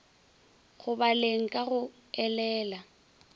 go baleng ka go elela